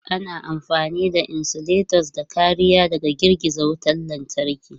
Ana amfani da insulators don kariya daga girgiza wutar lantarki.